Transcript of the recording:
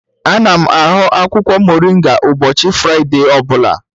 Ana m ahọ akwụkwọ moringa ụbọchị Fraịde ọ bụla..